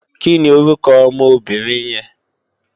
Kini órúkò òmò óbìrín yèn?